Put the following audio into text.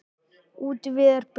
Útvíðar buxur.